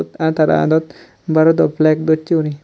aro tara adot barodor flag dossey guri.